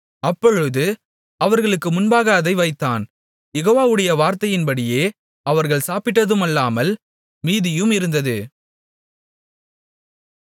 அப்பொழுது அவர்களுக்கு முன்பாக அதை வைத்தான் யெகோவாவுடைய வார்த்தையின்படியே அவர்கள் சாப்பிட்டதுமல்லாமல் மீதியும் இருந்தது